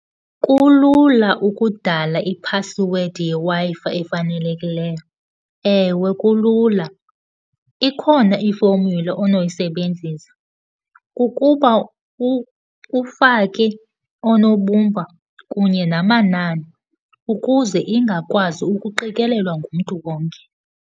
Kulula ukudala iphasiwedi yeWi-Fi efanelekileyo, ewe kulula. Ikhona i-formula onoyisebenzisa, kukuba ufake oonobumba kunye namanani ukuze ingakwazi ukuqikelelwa ngumntu wonke.